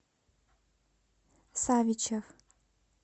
савичев